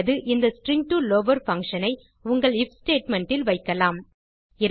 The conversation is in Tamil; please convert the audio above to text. அல்லது இந்த எஸ்டிஆர் டோ லவர் பங்ஷன் ஐ உங்கள் ஐஎஃப் ஸ்டேட்மெண்ட் இல் வைக்கலாம்